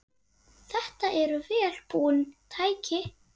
Þetta eru vel búin tæki.